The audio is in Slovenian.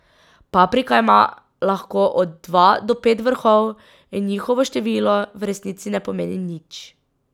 Paprika ima lahko od dva do pet vrhov in njihovo število v resnici ne pomeni nič.